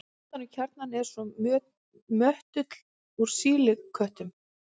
Utan um kjarnann er svo möttull úr sílíkötum.